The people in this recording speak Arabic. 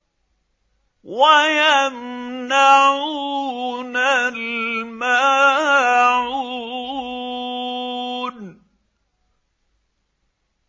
وَيَمْنَعُونَ الْمَاعُونَ